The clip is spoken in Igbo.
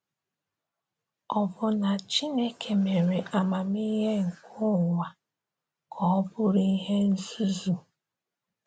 Ọ̀ bụ na Chineke mere amamihe nke ụwa ka ọ bụrụ ihe nzuzu?